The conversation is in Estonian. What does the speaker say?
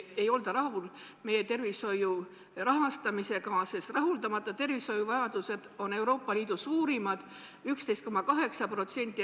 Ei olda rahul meie tervishoiu rahastamisega, sest rahuldamata tervishoiuvajadus on Eestis Euroopa Liidu suurimaid, 11,8% elanikkonnast.